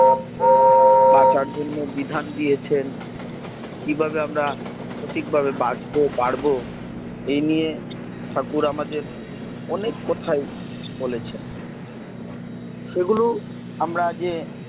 বাঁচার জন্য বিধান দিয়েছেন কিভাবে আমরা সঠিকভাবে বাছবো পারবো এই নিয়ে ঠাকুর আমাদের অনেক কথাই বলেছে সেগুলো আমরা যে